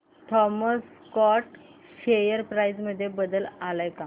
Thomas Scott share price मध्ये बदल आलाय का